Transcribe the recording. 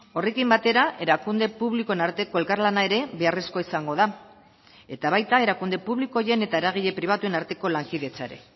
horrekin batera erakunde publikoen arteko elkarlana ere beharrezkoa izango da eta baita erakunde publiko horien eta eragile pribatuen arteko lankidetza ere